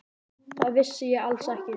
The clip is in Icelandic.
Það vissi ég alls ekki.